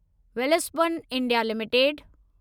Welspun India limited